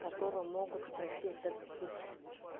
которые могут пройти вот этот путь